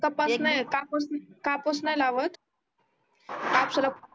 कापूस नाही लावत कापसाला